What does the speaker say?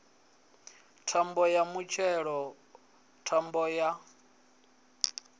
thambo ya mutshelo thambo ya